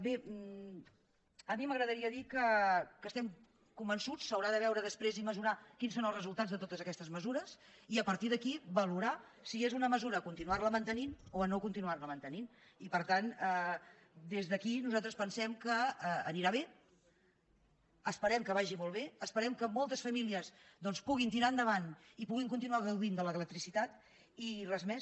bé a mi m’agradaria dir que estem convençuts s’haurà de veure després i mesurar quins són els resultats de totes aquestes mesures i a partir d’aquí valorar si és una mesura a continuar la mantenint o a no continuar la mantenint i per tant des d’aquí nosaltres pensem que anirà bé esperem que vagi molt bé esperem que moltes famílies doncs puguin tirar endavant i puguin continuar gaudint de l’electricitati res més